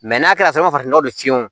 n'a kɛra farafin nɔgɔ de ye fiyewu